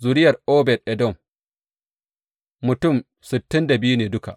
Zuriyar Obed Edom, mutum sittin da biyu ne duka.